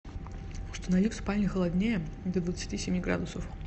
установи в спальне холоднее до двадцати семи градусов